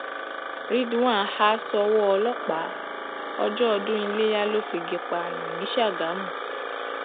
ridwan ha ṣọwọ ọlọpàá ọjọ ọdún iléyà ló figi pààyàn ní ṣàgámù